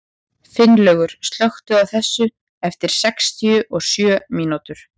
Finnlaugur, slökktu á þessu eftir sextíu og sjö mínútur.